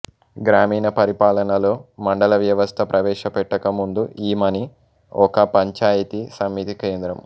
గ్రామీణ పరిపాలనలో మండల వ్వవస్థ ప్రవేశపెట్టకముందు ఈమని ఒక పంచాయితీ సమితి కేంద్రము